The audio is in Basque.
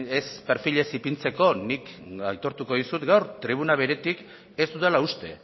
ez perfilez ipintzeko nik aitortuko dizut gaur tribuna beretik ez dudala uste